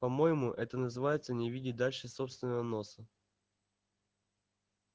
по-моему это называется не видеть дальше собственного носа